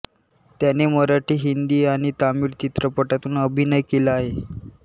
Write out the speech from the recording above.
त्याने मराठी हिंदी आणि तमिळ चित्रपटातुन अभिनय केला आहे